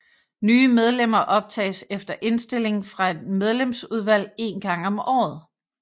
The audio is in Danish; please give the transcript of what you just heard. Nye medlemmer optages efter indstilling fra et medlemsudvalg en gang om året